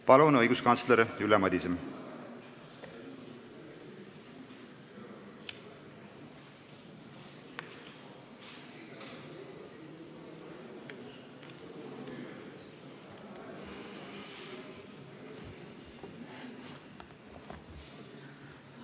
Palun, õiguskantsler Ülle Madise!